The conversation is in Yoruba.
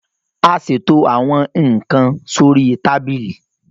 a ṣètò àwọn nkán sórí Tábìlì